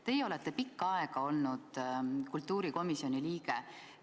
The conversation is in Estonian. Teie olete pikka aega olnud kultuurikomisjoni liige.